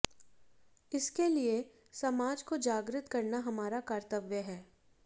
इसके लिए समाज को जागृत करना हमारा कर्तव्य है